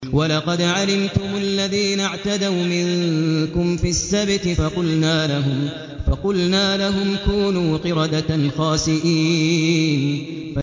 وَلَقَدْ عَلِمْتُمُ الَّذِينَ اعْتَدَوْا مِنكُمْ فِي السَّبْتِ فَقُلْنَا لَهُمْ كُونُوا قِرَدَةً خَاسِئِينَ